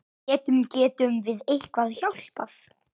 Getum, getum við eitthvað hjálpað?